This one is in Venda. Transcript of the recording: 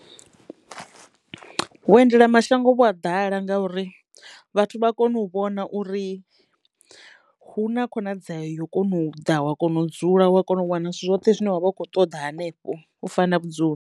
Vhuendelamashango vhu a ḓala ngauri vhathu vha kono u vhona uri hu na khonadzeo yo kona u ḓa wa kona u dzula wa kona u wana zwithu zwoṱhe zwine vha vha kho ṱoḓa hanefho u fana vhudzulo.